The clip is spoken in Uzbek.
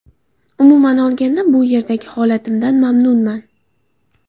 Umuman olganda, bu yerdagi holatimdan mamnunman.